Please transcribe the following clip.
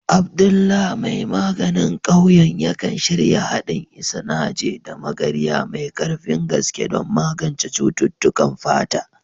Abdullah mai maganin ƙauyen, yakan shirya haɗin Isanaje da Magarya mai ƙarfin gaske don magance cututtukan fata.